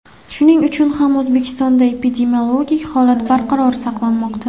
Shuning uchun ham O‘zbekistonda epidemiologik holat barqaror saqlanmoqda.